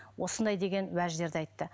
осындай деген уәждерді айтты